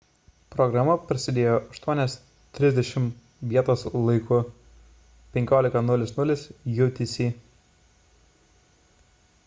programa prasidėjo 8:30 val. vietos laiku 15:00 utc